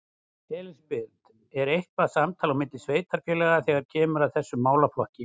Elísabet: Er eitthvað samtal á milli sveitarfélaga þegar kemur að þessum málaflokk?